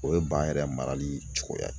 O ye ba yɛrɛ marali cogoya ye